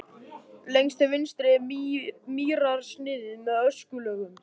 Lengst til vinstri er mýrarsniðið með öskulögum.